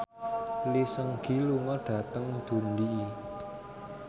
Lee Seung Gi lunga dhateng Dundee